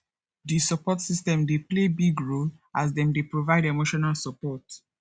di support system dey play big role as dem dey provide emotional support